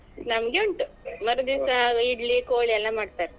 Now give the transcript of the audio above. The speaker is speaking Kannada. ನಮ್ಗೆ ಉಂಟು ಮರುದಿವಸ ಇಡ್ಲಿ ಕೋಳಿ ಎಲ್ಲಾ ಮಾಡ್ತಾರೆ.